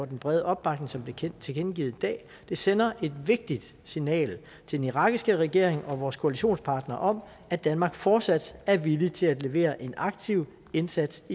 den brede opbakning som er blevet tilkendegivet i dag det sender et vigtigt signal til den irakiske regering og vores koalitionspartnere om at danmark fortsat er villig til at levere en aktiv indsats